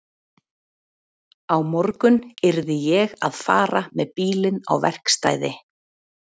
Á morgun yrði ég að fara með bílinn á verkstæði.